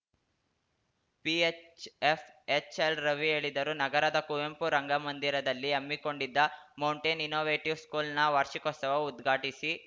PHF ಎಚ್‌ಎಲ್‌ರವಿ ಹೇಳಿದರು ನಗರದ ಕುವೆಂಪು ರಂಗಮಂದಿರದಲ್ಲಿ ಹಮ್ಮಿಕೊಂಡಿದ್ದ ಮೌಂಟೇನ್‌ ಇನ್ನೋವೇಟಿವ್‌ ಸ್ಕೂಲ್‌ನ ವಾರ್ಷಿಕೋತ್ಸವ ಉದ್ಘಾಟಿಸಿ